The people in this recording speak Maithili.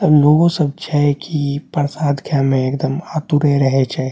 एमें लोगो सब छै कि प्रसाद खाय में एकदम आतुरे रहे छै।